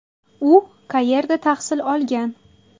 U qayerda tahsil olgan?